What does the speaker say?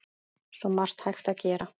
Svo margt hægt að gera.